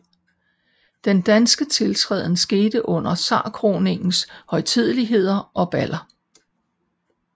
Den danske tiltræden skete under zarkroningens højtideligheder og baller